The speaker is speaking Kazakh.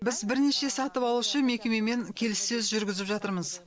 біз бірнеше сатып алушы мекемемен келіссөз жүргізіп жатырмыз